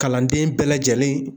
Kalanden bɛɛ lajɛlen